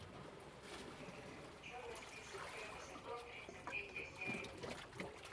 черный список первый сезон тридцать третья серия